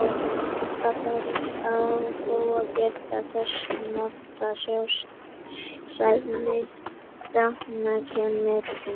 Alltaf þarf á þó að gæta þess að nota sæðisdrepandi krem með henni.